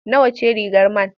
Nawa ce rigar man?